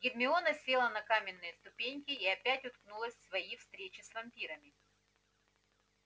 гермиона села на каменные ступеньки и опять уткнулась в свои встречи с вампирами